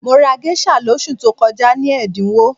Mo rà géṣà lóṣù tó kọjá ní ẹ̀dínwó